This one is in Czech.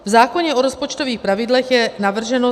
V zákoně o rozpočtových pravidlech je navrženo